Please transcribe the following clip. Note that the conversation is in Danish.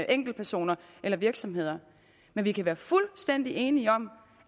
enkeltpersoner eller virksomheder men vi kan være fuldstændig enige om